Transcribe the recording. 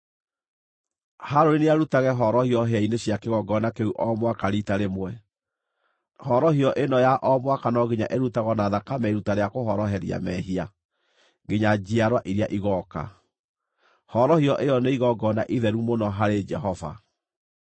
Harũni nĩarutage horohio hĩa-inĩ cia kĩgongona kĩu o mwaka riita rĩmwe. Horohio ĩno ya o mwaka no nginya ĩrutagwo na thakame ya iruta rĩa kũhoroheria mehia, nginya njiarwa iria igooka. Horohio ĩyo nĩ igongona itheru mũno harĩ Jehova.”